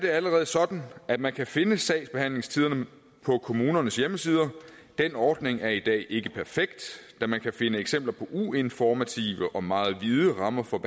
allerede sådan at man kan finde sagsbehandlingstiderne på kommunernes hjemmesider den ordning er i dag ikke perfekt da man kan finde eksempler på uinformative og meget vide rammer for